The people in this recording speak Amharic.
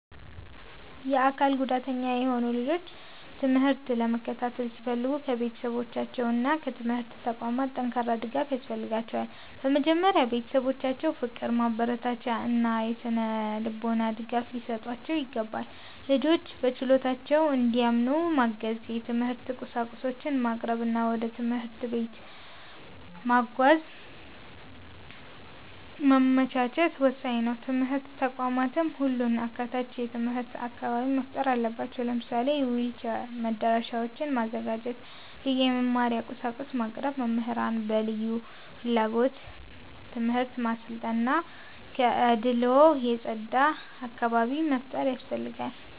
የአካል ጉዳተኛ የሆኑ ልጆች ትምህርት ለመከታተል ሲፈልጉ ከቤተሰባቸውና ከትምህርት ተቋማት ጠንካራ ድጋፍ ያስፈልጋቸዋል። በመጀመሪያ ቤተሰቦቻቸው ፍቅር፣ ማበረታቻ እና የሥነ-ልቦና ድጋፍ ሊሰጧቸው ይገባል። ልጆቹ በችሎታቸው እንዲያምኑ ማገዝ፣ የትምህርት ቁሳቁሶችን ማቅረብ እና ወደ ትምህርት ቤት መጓጓዣ ማመቻቸት ወሳኝ ነው። ትምህርት ተቋማትም ሁሉን አካታች የትምህርት አካባቢ መፍጠር አለባቸው። ለምሳሌ የዊልቸር መዳረሻዎችን ማዘጋጀት፣ ልዩ የመማሪያ ቁሳቁሶችን ማቅረብ፣ መምህራንን በልዩ ፍላጎት ትምህርት ማሰልጠን እና ከአድልዎ የጸዳ አካባቢ መፍጠር ያስፈልጋል።